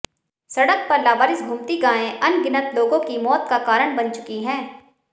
सडक़ पर लावारिस घूमती गायें अनगिनत लोगों की मौत का कारण बन चुकी हैं